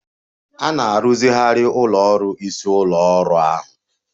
A na-arụzigharị ụlọ ọrụ isi ụlọ ọrụ ahụ.